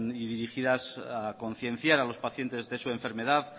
y dirigidas a concienciar a los pacientes de su enfermedad